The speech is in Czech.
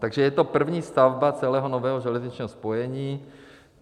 Takže je to první stavba celého nového železničního spojení.